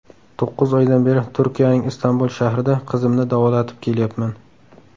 To‘qqiz oydan beri Turkiyaning Istanbul shahrida qizimni davolatib kelyapman.